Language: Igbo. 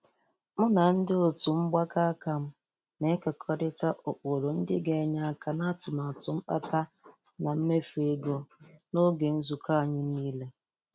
Mụ na ndị otu mgbakọ aka m na-ekekọrịta ụkpụrụ ndị ga-enye aka n'atụmtụ mpata na mmefu ego n'oge nzukọ anyị n'ile.